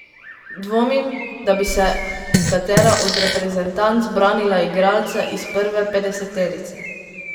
Dvomim, da bi se katera od reprezentanc branila igralca iz prve petdeseterice.